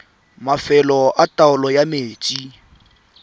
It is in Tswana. mafelo a taolo ya metsi